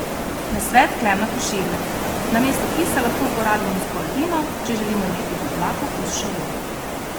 Nasvet Klemna Koširja: 'Namesto kisa lahko uporabimo zgolj vino, če želimo imeti bolj blag okus šavorja.